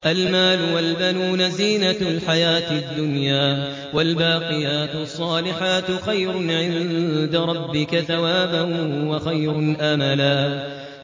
الْمَالُ وَالْبَنُونَ زِينَةُ الْحَيَاةِ الدُّنْيَا ۖ وَالْبَاقِيَاتُ الصَّالِحَاتُ خَيْرٌ عِندَ رَبِّكَ ثَوَابًا وَخَيْرٌ أَمَلًا